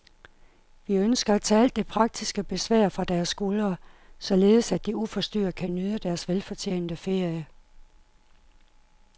Vi ønsker at tage alt det praktiske besvær fra deres skuldre, således at de uforstyrret kan nyde deres velfortjente ferie.